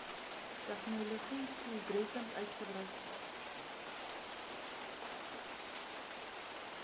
tegnologië doeltreffend gebruik